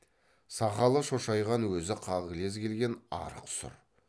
сақалы шошайған өзі қағылез келген арық сұр